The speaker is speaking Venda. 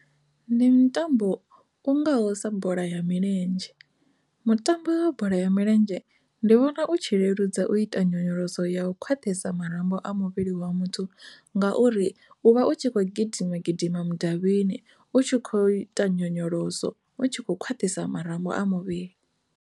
Ndi mutambo u ngaho sa bola ya milenzhe, mutambo wa bola ya milenzhe ndi vhona u tshi leludza u ita nyonyoloso ya khwaṱhisa marambo muvhili wa muthu ngauri u vha tshi kho ngauri u vha u tshi kho gidima gidima mudavhini u tshi kho ita nyonyoloso u tshi kho khwaṱhisa marambo a muvhili.